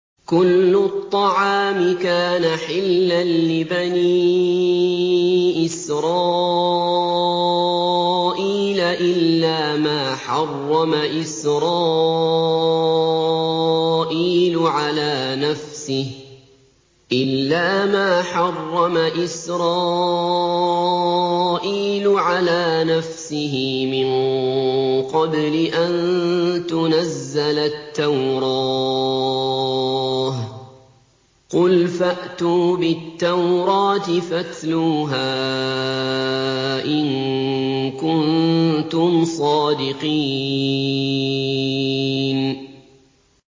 ۞ كُلُّ الطَّعَامِ كَانَ حِلًّا لِّبَنِي إِسْرَائِيلَ إِلَّا مَا حَرَّمَ إِسْرَائِيلُ عَلَىٰ نَفْسِهِ مِن قَبْلِ أَن تُنَزَّلَ التَّوْرَاةُ ۗ قُلْ فَأْتُوا بِالتَّوْرَاةِ فَاتْلُوهَا إِن كُنتُمْ صَادِقِينَ